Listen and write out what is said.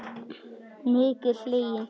Mikið hlegið.